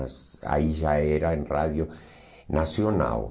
mas aí já era em rádio nacional.